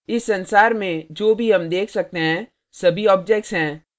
इस संसार में जो भी हम देख सकते हैं सभी objects हैं